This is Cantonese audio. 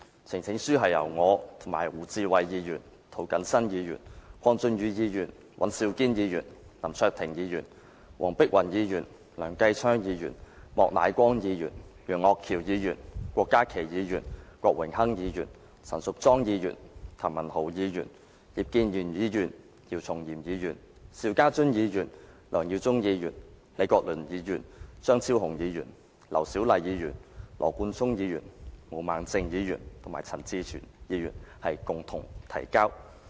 呈請書是由我、胡志偉議員、涂謹申議員、鄺俊宇議員、尹兆堅議員、林卓廷議員、黃碧雲議員、梁繼昌議員、莫乃光議員、楊岳橋議員、郭家麒議員、郭榮鏗議員、陳淑莊議員、譚文豪議員、葉建源議員、姚松炎議員、邵家臻議員、梁耀忠議員、李國麟議員、張超雄議員、劉小麗議員、羅冠聰議員、毛孟靜議員及陳志全議員共同提交。